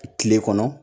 Kile kɔnɔ